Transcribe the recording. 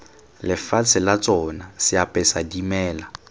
lefatshe la tsona seapesa dimela